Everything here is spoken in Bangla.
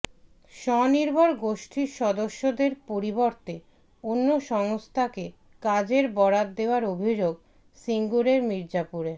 স্বনির্ভর গোষ্ঠীর সদস্যদের পরিবর্তে অন্য সংস্থাকে কাজের বরাত দেওয়ার অভিযোগ সিঙ্গুরের মির্জাপুরে